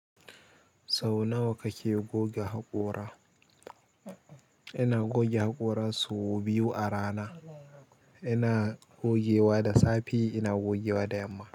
Sau nawa kake goga haƙora? Ina goge haƙora sau biyu a rana. Ina gogewa da safe ina gogewa da yamma.